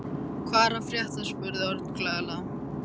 Hvað er að frétta? spurði Örn glaðlega.